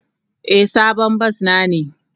Eh, sabon bas na ne.